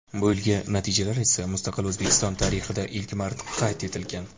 Bu yilgi natijalar esa Mustaqil O‘zbekiston tarixida ilk marta qayd etilgan.